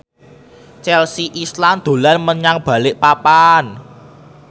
Chelsea Islan dolan menyang Balikpapan